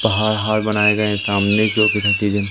पहाड़ वहाड़ बनाए गए सामने चीजे--